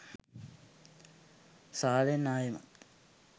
සාලෙන් ආයෙමත්